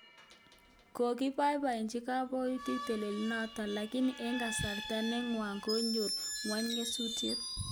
Kobobochi koboitiik tileenoto lakini eng kasarta ne nwach konyor ngwony nyasutiet